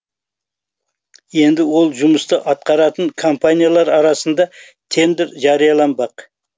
енді ол жұмысты атқаратын компаниялар арасында тендер жарияланбақ